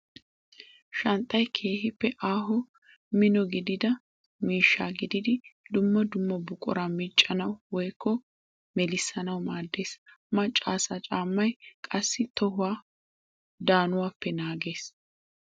Shanxxay keehippe aaho mino gididda miishsha gididdi dumma dumma buqura miccanawu woykko melissanawu maades. Macca asay caamay qassi tohuwa danuwappe naages.